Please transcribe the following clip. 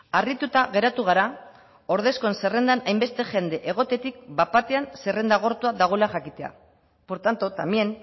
harrituta geratu gara ordezkoen zerrendan hainbeste jende egotetik bat batean zerrendan agortua dagoela jakitea por tanto también